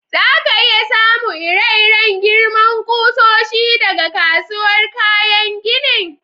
Za ka iya samu ire-iren girman kusoshi daga kasuwar kayan ginin?